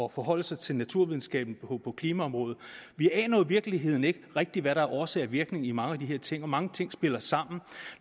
at forholde sig til naturvidenskaben på klimaområdet vi aner virkeligheden ikke rigtig hvad der er årsag og virkning i mange af de her ting og mange ting spiller sammen